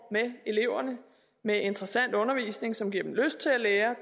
med eleverne med interessant undervisning som giver dem lyst til at lære